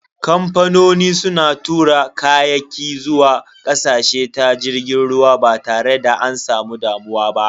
Kamfanoni suna tura kayaki zuwa ƙasashe ta jirgin ruwa ba tare da an samu damuwa ba.